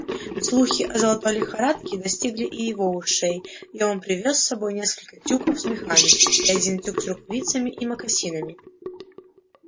слухи о золотой лихорадке достигли и его ушей и он привёз с собой несколько тюков с мехами и один тюк с рукавицами и мокасинами